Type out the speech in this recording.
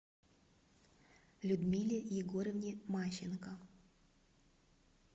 людмиле егоровне мащенко